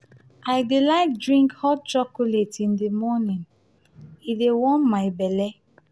i dey like drink hot chocolate in di morning; e dey warm my belle.